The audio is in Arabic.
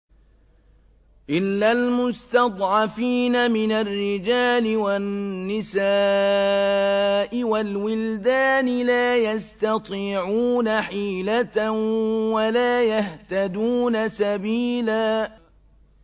إِلَّا الْمُسْتَضْعَفِينَ مِنَ الرِّجَالِ وَالنِّسَاءِ وَالْوِلْدَانِ لَا يَسْتَطِيعُونَ حِيلَةً وَلَا يَهْتَدُونَ سَبِيلًا